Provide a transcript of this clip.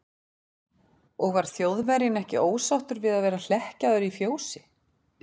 Og var Þjóðverjinn ekki ósáttur við að vera hlekkjaður í fjósi?